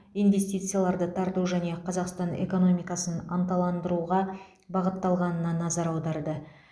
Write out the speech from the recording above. инвестицияларды тарту және қазақстан экономикасын ынталандыруға бағытталғанына назар аударды